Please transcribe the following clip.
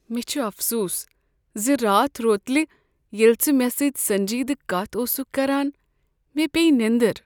مےٚ چھ افسوٗس ز راتھ روتلہ ییٚلہ ژٕ مےٚ سۭتۍ سنجیدٕ کتھ اوسکھ کران مےٚ پیٚیہ نیٔنٛدٕر۔